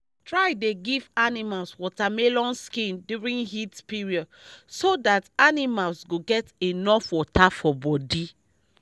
try dey give animals watermelon skin during heat period so that animals go get enough water for body